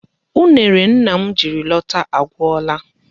Unere nna m jiri lọta agwụla.